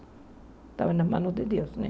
Estava nas mãos de Deus, né?